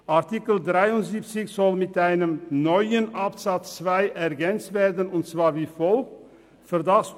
Artikel 73 soll um einen neuen Absatz 2 ergänzt werden, der wie folgt lauten soll: